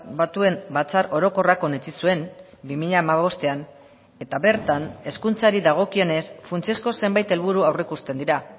batuen batzar orokorrak onetsi zuen bi mila hamabostean eta bertan hezkuntzari dagokionez funtsezko zenbait helburu aurreikusten dira